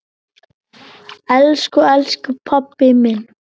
Elsku elsku pabbi minn.